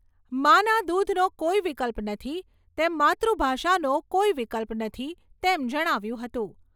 મા ના દૂધનો કોઈ વિકલ્પ નથી તેમ માતૃભાષાનો કોઈ વિકલ્પ નથી તેમ જણાવ્યું હતું.